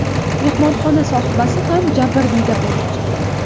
Mehmonxona sohibasi ham jabrdiyda bo‘lib chiqdi.